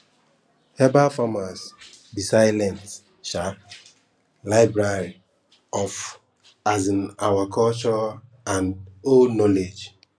herbal farms be silent um library of um our culture and old knowledge